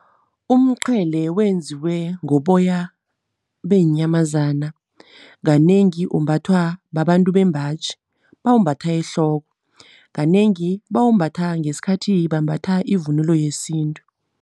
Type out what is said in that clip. Umqhele wenziwe ngoboya beenyamazana. Kanengi umbathwa babantu bembaji, bawumbatha ehloko. Kanengi bawumbatha ngesikhathi bambatha ivunulo yesintu.